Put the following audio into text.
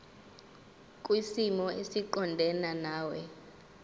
kwisimo esiqondena nawe